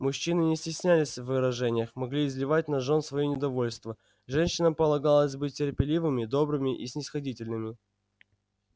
мужчины не стеснялись в выражениях могли изливать на жён своё недовольство женщинам полагалось быть терпеливыми добрыми и снисходительными